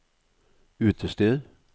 utested